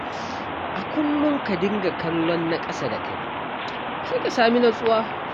A kullum ka dinga kallon na ƙasa da kai, sai ka sami nutsuwa.